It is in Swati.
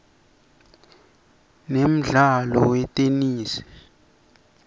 nemdlalo weteney